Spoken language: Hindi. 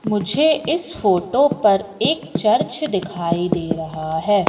मुझे इस फोटो पर एक चर्च दिखाई दे रहा हैं।